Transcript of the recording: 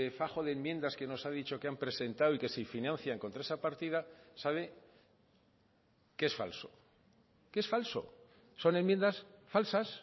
fajo de enmiendas que nos ha dicho que han presentado y que se financian contra esa partida sabe que es falso que es falso son enmiendas falsas